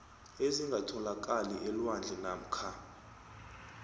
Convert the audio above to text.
ezingatholakali elwandle namkha